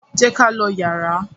jé k'á ló yàrá.